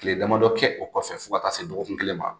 Tile damadɔ kɛ o kɔfɛ fo ka taa se dɔgɔkun kelen ma